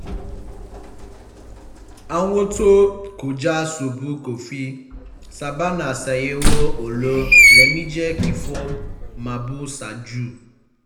àwọn tó ń kọjá ṣọ́ọ̀bù kọfí sábà ń ṣàyẹ̀wò owó lẹ́mejì kí wọ́n má bàa san jù